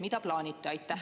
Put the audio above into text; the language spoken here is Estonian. Mida plaanite?